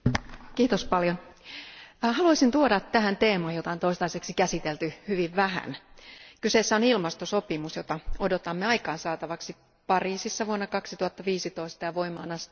Arvoisa puhemies, haluaisin tuoda tähän teeman, jota on toistaiseksi käsitelty hyvin vähän. Kyseessä on ilmastosopimus, jota odotamme aikaan saatavaksi Pariisissa vuonna 2015 ja voimaan astuvaksi